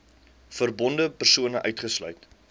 verbonde persone uitgesluit